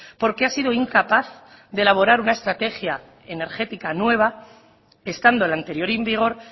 porque ha sido incapaz de elaborar una estrategia energética nueva estando el anterior en vigor